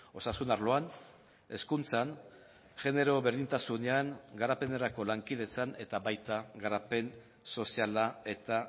osasun arloan hezkuntzan genero berdintasunean garapenerako lankidetzan eta baita garapen soziala eta